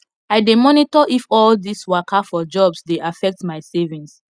i dey monitor if all this waka for jobs dey affect my savings